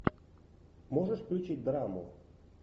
можешь включить драму